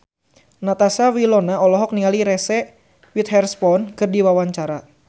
Natasha Wilona olohok ningali Reese Witherspoon keur diwawancara